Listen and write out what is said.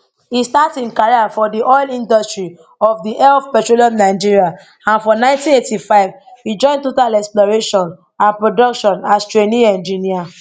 e start im career for di oil industry of di elf petroleum nigeria and for 1985 e join total exploration and production as trainee engineer